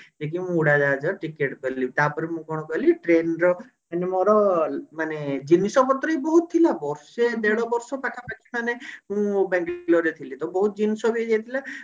ସେ ଯୋଉ ଉଡାଜାହାଜ ଟିକେଟ କଲି ତାପରେ ମୁଁ କଣ କଲି train ର ମାନେ ମୋର ମାନେ ଜିନିଷ ପତ୍ର ବି ବହୁତ ଥିଲା ବର୍ଷେ ଦେଢ ବର୍ଷ ପାଖାପାଖି ମାନେ ମୁଁ ବାଙ୍ଗେଲୋର ରେ ଥିଲି ତ ବହୁତ ଜିନିଷ ହେଇ ଯାଇଥିଲା